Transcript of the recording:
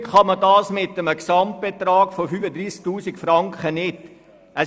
Natürlich kann man das mit einem Gesamtbetrag von 35 000 Franken nicht tun.